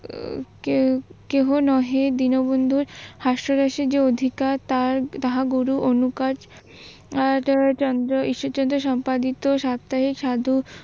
কেহ নহে দীনবন্ধুর হাস্যরসের যে অধিকার তাহা গুরু অনুকাজঈশ্বরচন্দ্র সম্পাদিত সপ্তাহে